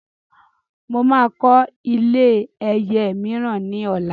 Mo máa kọ́ ilé ẹyẹ mìíràn ní ọ̀la